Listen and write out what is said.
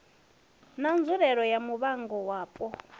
na nzulele ya muvhango wapo